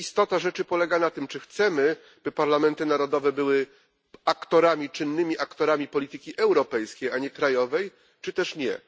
Istota rzeczy polega na tym, czy chcemy, żeby parlamenty narodowe były czynnymi aktorami polityki europejskiej, a nie krajowej, czy też nie.